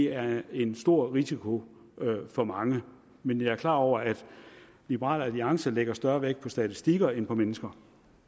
er en stor risiko for mange men jeg er klar over at liberal alliance lægger større vægt på statistikker end på mennesker